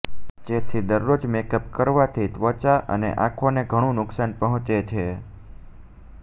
જેથી દરરોજ મેકઅપ કરવાથી ત્વચા અને આંખોને ઘણું નુકસાન પહોચે છે